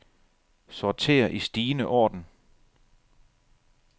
Sorter i stigende orden.